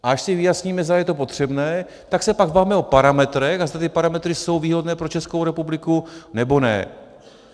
A až si vyjasníme, zdali je to potřebné, tak se pak bavme o parametrech a zda ty parametry jsou výhodné pro Českou republiku, nebo ne.